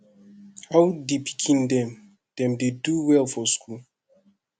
how di pikin dem dem dey do well for school